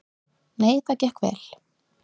Nei, það gekk vel.